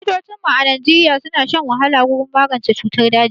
Likitocinmu a Najeriya suna shan wahala wurin magance cutar daji